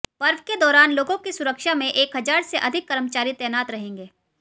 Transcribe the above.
पर्व के दौरान लोगों की सुरक्षा में एक हजार से अधिक कर्मचारी तैनात रहेंगे